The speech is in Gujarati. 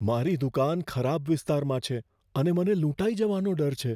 મારી દુકાન ખરાબ વિસ્તારમાં છે અને મને લૂંટાઈ જવાનો ડર છે.